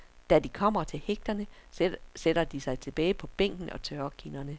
Da de kommer til hægterne, sætter de sig tilbage på bænken og tørrer kinderne.